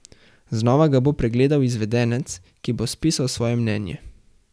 Znova ga bo pregledal izvedenec, ki bo spisal svoje mnenje.